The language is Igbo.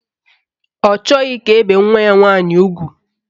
Ọ chọghị ka e bee nwa ya nwaanyị ugwu